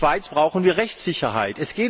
Für die Schweiz brauchen wir Rechtssicherheit.